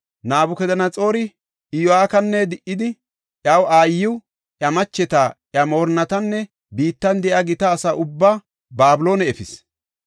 Nabukadanaxoori Iyo7akina di77idi, iya aayiw, iya macheta, iya moorinnatinne biittan de7iya gita asa ubbaa Babiloone efis.